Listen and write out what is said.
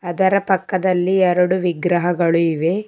ಅದರ ಪಕ್ಕದಲ್ಲಿ ಎರಡು ವಿಗ್ರಹಗಳು ಇವೆ.